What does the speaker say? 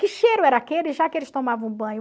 Que cheiro era aquele, já que eles tomavam banho?